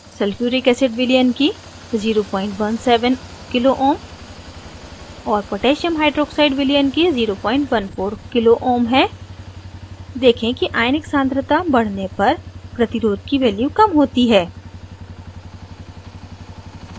sulphuric acid विलयन की 017 kohm और पोटैसियम hydroxide विलयन की 014 kohm है देखें कि आयनिक सान्द्रता concentration बढ़ने पर प्रतिरोध की वैल्यूज़ kohm होती है